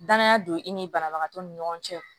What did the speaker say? Danaya don i ni banabagatɔ ni ɲɔgɔn cɛ